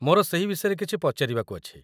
ମୋର ସେହି ବିଷୟରେ କିଛି ପଚାରିବାକୁ ଅଛି